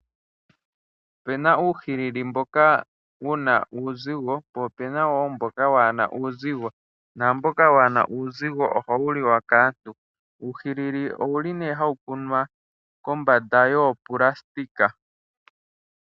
Opena uuhilili mboka wu na uuzigo po opena woo mboka waana uuzigo. Mboka waana uuzigo oha wu liwa kaantu. Uuhilili owu li nee hawu kunwa kombanda yoonayilona.